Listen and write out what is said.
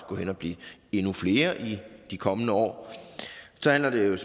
gå hen og blive endnu flere i de kommende år så handler det